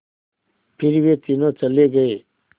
फिर वे तीनों चले गए